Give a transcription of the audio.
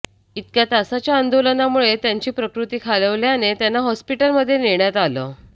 इतक्या तासांच्या आंदोलनामुळे त्यांची प्रकृती खालावल्याने त्यांना हॉस्पिटलमध्ये नेण्यात आलं